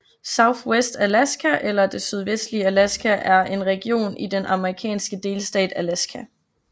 Southwest Alaska eller Det sydvestlige Alaska er en region i den amerikanske delstat Alaska